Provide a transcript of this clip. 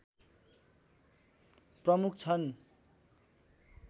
प्रमुख छन्